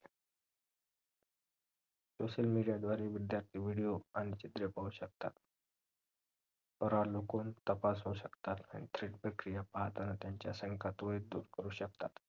social media द्वारे विद्यार्थ्यांना video आणि चित्रे पाहू शकतात तर अवलोकंन तपासू शकतात आणि थेट प्रक्रिया पाहताना त्यांच्या शंका ते ही दूर करू शकतात